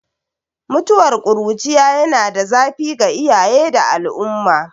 Mutuwar ƙuruciya yana da zafi ga iyaye da al'umma